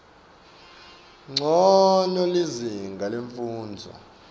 ncono lizinga lemfundvo